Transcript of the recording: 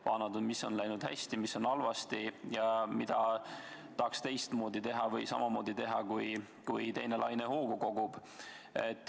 Vaadanud, mis on läinud hästi, mis halvasti ja mida tahaks teistmoodi teha või samamoodi teha, kui teine laine hoogu kogub.